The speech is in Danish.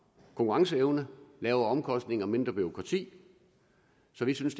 konkurrenceevne lavere omkostninger og mindre bureaukrati så vi synes